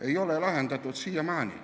Ei ole lahendatud siiamaani.